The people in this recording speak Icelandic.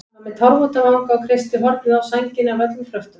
Hann var með tárvota vanga og kreisti hornið á sænginni af öllum kröftum.